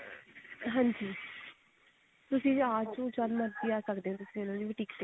ਹਾਂਜੀ ਹਾਂਜੀ ਤੁਸੀਂ ਆਜੋ ਤੁਸੀਂ ਜਦ ਮਰਜ਼ੀ ਆ ਸਕਦੇ ਹੋ ਇਹਨਾ ਦੇ boutique ਤੇ